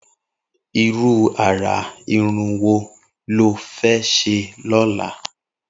Irù àrà irùn wó ló fè ṣé lọ̀lá?